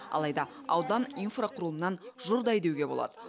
алайда аудан инфрақұрылымнан жұрдай деуге болады